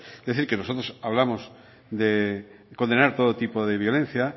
es decir que nosotros hablamos de condenar todo tipo de violencia